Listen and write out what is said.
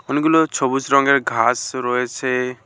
অনেকগুলো ছবুজ রঙের ঘাস রয়েছে।